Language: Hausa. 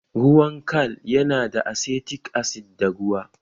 Ruwan kal yana da asetik asid da ruwa